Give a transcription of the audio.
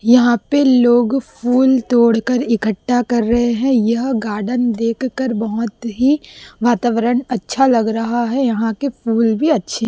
यहाँ पे लोग फूल तोड़कर इकट्ठा कर रहें हैं यह गार्डन देखकर बहोत ही वातावरण अच्छा लग रहा हैं यहां के फूल भी अच्छे--